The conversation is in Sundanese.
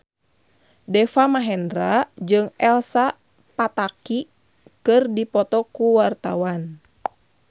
Deva Mahendra jeung Elsa Pataky keur dipoto ku wartawan